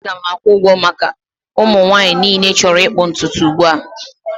Aga m akwụ ụgwọ maka ụmụ nwanyị niile chọrọ ịkpụ ntutu ugbu a